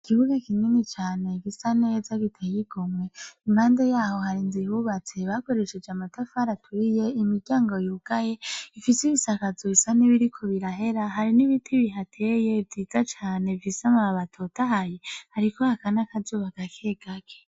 Ikibuga kinini cane gisa neza giteye igomwe, impande yaho hari inzu ihubatse bakoresheje amatafari ahiye , imiryango yugaye ifise ibisakazo bisa nibiriko birahera, hari nibiti bihateye vyiza cane bifise amababi atotahaye , hariko haka nakazuba gake gake.